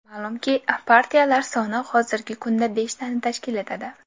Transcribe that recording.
Ma’lumki, partiyalar soni hozirgi kunda beshtani tashkil etadi.